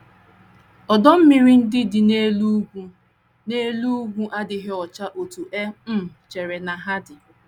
Ọdọ mmiri ndị dị n’elu ugwu n’elu ugwu adịghị ọcha otú e um chere na ha dị.